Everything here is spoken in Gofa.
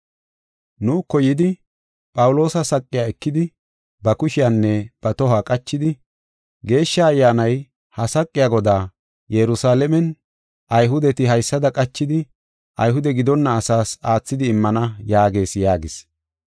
Nuuko yidi Phawuloosa saqiya ekidi ba kushiyanne ba tohuwa qachidi, “Geeshsha Ayyaanay ha saqiya godaa, Yerusalaamen Ayhudeti haysada qachidi, Ayhude gidonna asaas aathidi immana yaagees” yaagis.